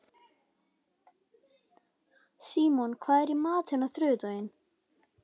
Símon, hvað er í matinn á þriðjudaginn?